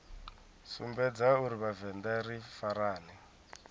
sumbedza uri vhavenḓa ri farane